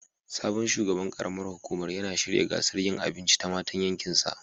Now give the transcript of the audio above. Sabon shugaban karam ar hukumar yana shirya gasar yinn abinci ta matan yankin sa